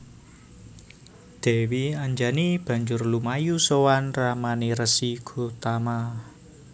Dèwi Anjani banjur lumayu sowan ramané Resi Gotama